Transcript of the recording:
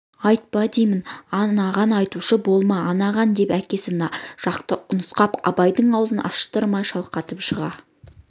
айтпа деймін анаған айтушы болма анаған деп әкесі жақты нұсқап абайдың аузын аштырмай шалқалатып жыға